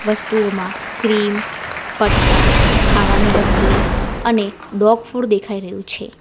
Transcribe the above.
વસ્તુઓમાં ક્રીમ પટ્ટા ખાવાની વસ્તુઓ અને ડોગ ફૂડ દેખાઈ રહ્યું છે.